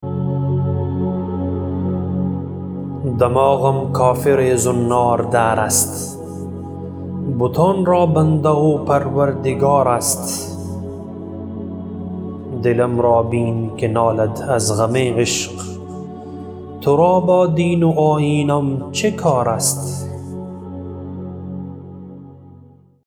دماغم کافر زنار دار است بتان را بنده و پروردگار است دلم را بین که نالد از غم عشق ترا با دین و آیینم چه کار است